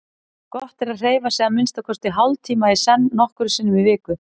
Gott er að hreyfa sig að minnsta kosti hálftíma í senn nokkrum sinnum í viku.